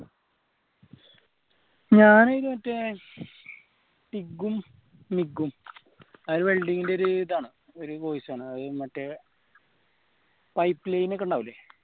ഞാൻ മറ്റേ റ്റിഗ്ഗും മിഗ്ഗും അത് welding ന്റെ ഒരു ഇതാണ് ഒരു course ആണ് അത് മറ്റേ pipeline ഒക്കെ ഇണ്ടാവൂലെ